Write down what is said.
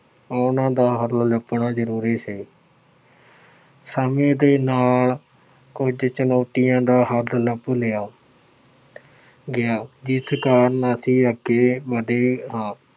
ਉਹਨਾ ਦਾ ਹੱਲ ਲੱਭਣਾ ਜ਼ਰੂਰੀ ਸੀ। ਸਮੇਂ ਦੇ ਨਾਲ ਕੁੱਝ ਚੁਣੌਤੀਆਂ ਦਾ ਹੱਲ ਲੱਭ ਲਿਆ ਗਿਆ ਜਿਸ ਕਾਰਨ ਅਸੀਂ ਅੱਗੇ ਵਧੇ ਹਾਂ।